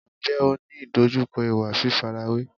Ǹjẹ́ ò ń ní ìdojúkọ ìwà fífarawé?